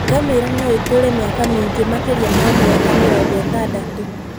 Ngamĩra no ĩtũre mĩaka mĩingĩ makĩrĩa ma mĩaka mĩrongo ĩtandatu.